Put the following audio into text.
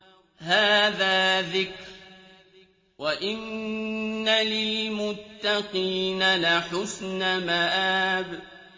هَٰذَا ذِكْرٌ ۚ وَإِنَّ لِلْمُتَّقِينَ لَحُسْنَ مَآبٍ